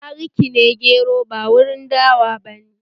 Bari ki ne gero ba warin dawa bane!